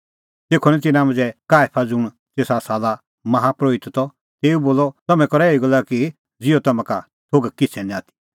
तेखअ तिन्नां मांझ़ै काईफा ज़ुंण तेसा साला माहा परोहित त तेऊ बोलअ तम्हैं करा एही गल्ला कि ज़िहअ तम्हां का निं किछ़ै थोघ आथी